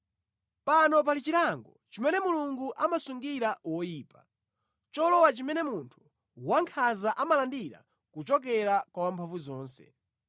“Pano pali chilango chimene Mulungu amasungira woyipa, cholowa chimene munthu wankhanza amalandira kuchokera kwa Wamphamvuzonse.